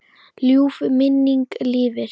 Ljúf minning lifir.